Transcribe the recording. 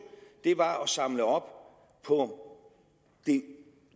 var at samle op på